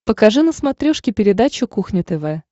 покажи на смотрешке передачу кухня тв